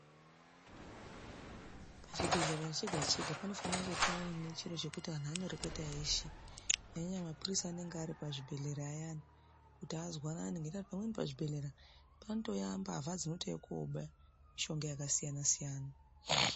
Pachibhehlera chega chega panofane kunga panechiro chekuti antu anoreketa eshe nenyaya yekuti mapurisa anenge ari pachibhehlera ayani kuti azwanane ngenda kuti pamweni pachibhehlera panotouya mbavha dzinouya koba mushonga yakasiyana siyana.